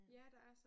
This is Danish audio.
Ja der er så